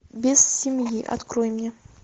без семьи открой мне